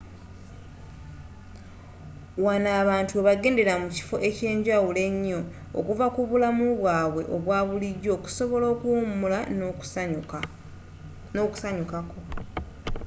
wano abantu webagendera mu kifo ekyenjawulo enyo okuva ku bulamu bwaabwe obwa bulijo okusobola okuwumula n'okusanyukako